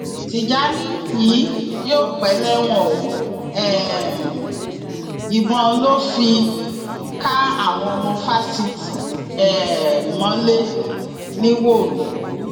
tìjàni yìí yóò pẹ lẹwọn o um ìbọn ló lọọ fi ká àwọn ọmọ fásitì um mọlẹ nìwòrò